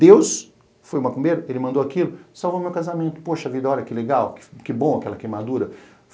Deus foi o macumbeiro, ele mandou aquilo, salvou meu casamento, poxa vida, olha que legal, que bom aquela queimadura.